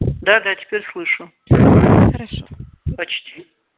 да да теперь слышу хорошо почти